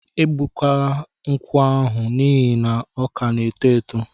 E gbutukwala nkwụ ahụ n'ihi na ọ ka na-eto eto!